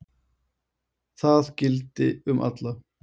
Það gildi um alla.